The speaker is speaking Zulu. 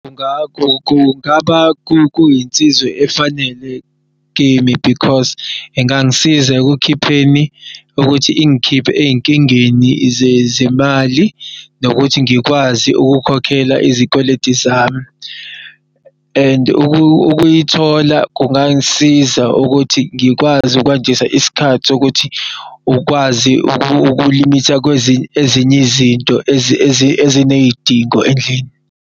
Ngakho kungaba kuyinsizw'efanele kimi because ingangisiza ekukhipheni ukuthi ingikhiphe ey'nkingeni zemali nokuthi ngikwazi ukukhokhela izikweleti zami. And ukuyithola kungangisiza ukuthi ngikwazi ukwandisa isikhathi sokuthi ukwazi ukulimitha ezinye izinto ezinesidingo endlini.